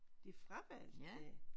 De fravalgte det?